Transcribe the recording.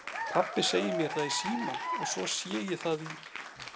Pabbi segir mér það í símann og svo sé ég það í